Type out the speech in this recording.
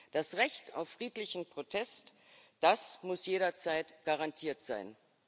Das Recht auf friedlichen Protest, das muss jederzeit garantiert sein.